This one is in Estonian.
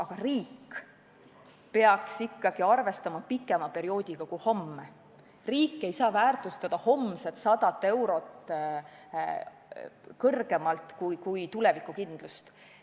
Aga riik peaks ikkagi arvestama pikema perioodiga kui homme, riik ei saa väärtustada homset 100 eurot kõrgemalt kui tulevikukindlust.